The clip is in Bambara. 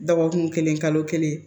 Dɔgɔkun kelen kalo kelen